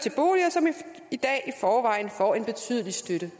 som i dag i forvejen får en betydelig støtte